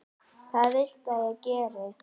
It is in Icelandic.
Hvað viltu að ég geri?